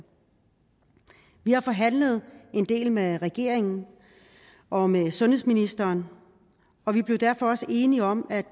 vi har forhandlet en del med regeringen og med sundhedsministeren og vi blev derfor også enige om at